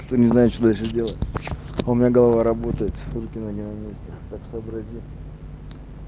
кто не знает что дальше делать у меня голова работает руки ноги на месте а так сообразим